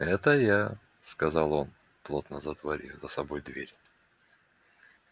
это я сказал он плотно затворив за собой дверь